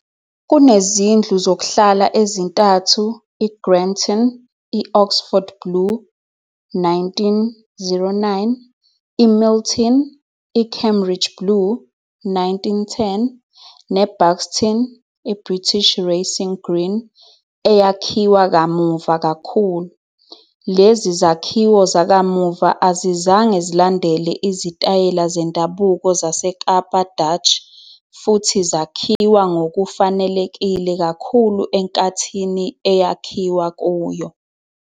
Kunezindlu zokuhlala ezintathu- i-Granton, i-Oxford Blue, 1909, iMilton, i-Cambridge Blue, 1910, ne-Buxton, i-British Racing Green, eyakhiwa kamuva kakhulu. Lezi zakhiwo zakamuva azizange zilandele izitayela zendabuko zaseKapa Dutch futhi zakhiwa ngokufanelekile kakhulu enkathini eyakhiwa kuyo.